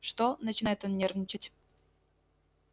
что начинает он нервничать